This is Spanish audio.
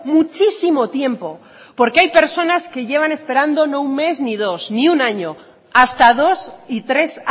muchísimo tiempo porque hay personas que llevan esperando no un mes ni dos ni un año hasta dos y tres